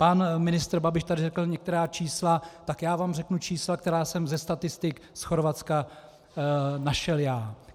Pan ministr Babiš tady řekl některá čísla, tak já vám řeknu čísla, která jsem ze statistik z Chorvatska našel já.